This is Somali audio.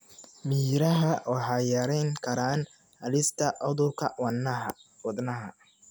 Miraha waxay yarayn karaan halista cudurrada wadnaha.